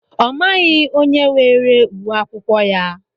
Ọ maghị onye weere ùwé akwụkwọ ya.